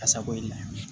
Kasago i la